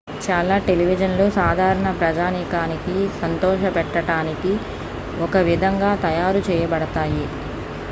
చాలా టెలివిజన్లు సాధారణ ప్రజానీకానికి సంతోషపెట్టడానికి ఒక విధంగా తయారు చేయబడతాయి